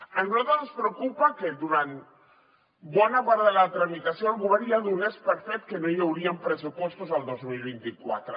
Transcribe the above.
a nosaltres ens preocupa que durant bona part de la tramitació el govern ja donés per fet que no hi haurien pressupostos el dos mil vint quatre